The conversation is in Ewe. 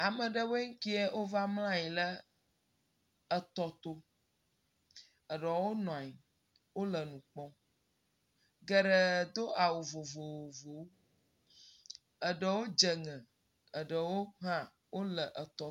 Ame aɖewoŋe keɛ wova mla anyi ɖe etɔ to. Eɖewo nua nyi ele nu kpɔm. Geɖewo do awu vovovowo. Eɖewo dze ŋɛ, eɖewo hã wo le etɔ to.